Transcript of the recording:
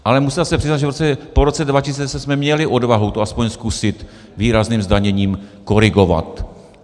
Ale musíme se přiznat, že po roce 2010 jsme měli odvahu to aspoň zkusit výrazným zdaněním korigovat.